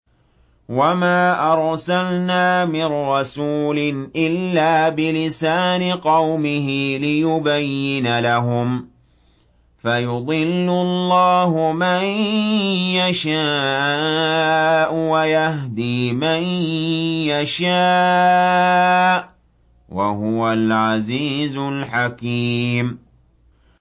وَمَا أَرْسَلْنَا مِن رَّسُولٍ إِلَّا بِلِسَانِ قَوْمِهِ لِيُبَيِّنَ لَهُمْ ۖ فَيُضِلُّ اللَّهُ مَن يَشَاءُ وَيَهْدِي مَن يَشَاءُ ۚ وَهُوَ الْعَزِيزُ الْحَكِيمُ